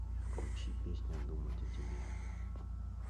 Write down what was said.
включи песня думать о тебе